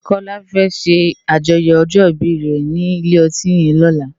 Kola fè ṣé ájòyò òjò ìbí re ni ilé òtín yèn lòlá